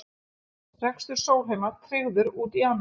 Rekstur Sólheima tryggður út janúar